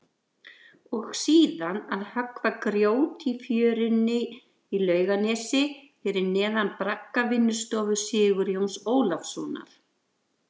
Og síðan að höggva grjót í fjörunni í Laugarnesi fyrir neðan braggavinnustofu Sigurjóns Ólafssonar.